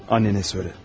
Anana de.